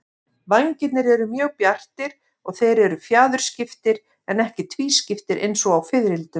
Vængirnir eru mjög bjartir og þeir eru fjaðurskiptir en ekki tvískiptir eins og á fiðrildum.